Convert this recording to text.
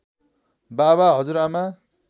बाबा हजुरआमा